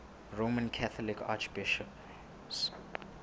roman catholic archbishops